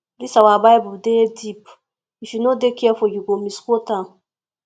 dis our bible dey deep if you no dey careful you go misquote am